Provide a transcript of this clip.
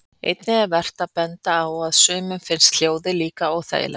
Einnig er vert að benda á að sumum finnst hljóðið líklega óþægilegt.